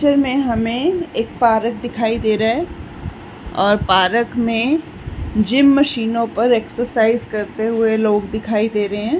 इस पिक्चर में हमे एक पार्क दिखाई दे रहा है और पार्क मे जीम मशीनो पर एक्सरसाइज करते हुए लोग दिखाई दे रहे है।